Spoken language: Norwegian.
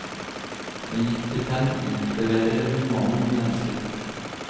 Med giftig penn utleverer hun mannen hun elsket.